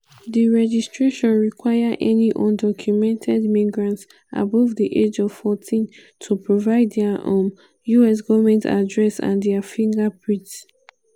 di registration require any undocumented migrants above di age of 14 to provide dia um us government address and dia fingerprints.